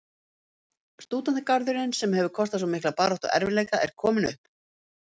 Stúdentagarðurinn, sem hefir kostað svo mikla baráttu og erfiðleika, er kominn upp.